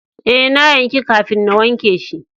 Eh, na yanki kafin na wanke shi.